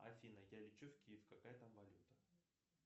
афина я лечу в киев какая там валюта